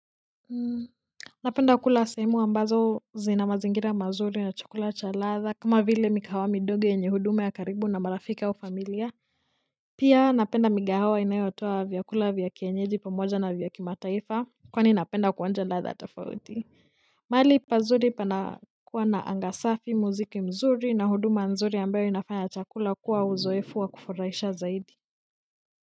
Napenda kula sehemu ambazo zina mazingira mazuri na chakula cha ladha kama vile mikahawa midogo yenye huduma ya karibu na marafiki au familia pia napenda migahawa inayotoa vyakula vya kienyeji pamoja na vya kimataifa kwani napenda kuonja ladha tafauti mahali pazuri panakuwa na anga safi muziki mzuri na huduma nzuri ambayo inafanya chakula kuwa uzoefu wa kufurahisha zaidi.